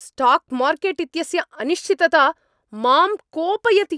Stock market इत्यस्य अनिश्चितता मां कोपयति!